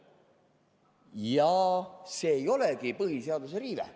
Ja see ei olegi põhiseaduse riive.